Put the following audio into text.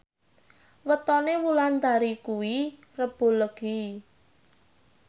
wetone Wulandari kuwi Rebo Legi